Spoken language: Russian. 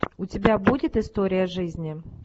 у тебя будет история жизни